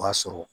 O b'a sɔrɔ